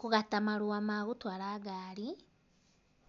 kũgata marũa ma gũtwara ngari.